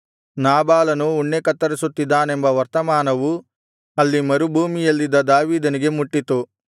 ನಾಬಾಲನು ಉಣ್ಣೆ ಕತ್ತರಿಸುತ್ತಿದ್ದಾನೆಂಬ ವರ್ತಮಾನವು ಅಲ್ಲಿ ಮರುಭೂಮಿಯಲ್ಲಿದ್ದ ದಾವೀದನಿಗೆ ಮುಟ್ಟಿತು